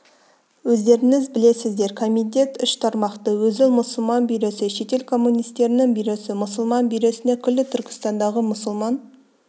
өздеріңіз білесіздер комитет үш тармақты өзі мұсылман бюросы шетел коммунистерінің бюросы мұсылман бюросына күллі түркістандағы мұсылман